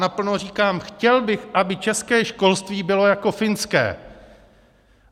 Naplno říkám: chtěl bych, aby české školství bylo jako finské.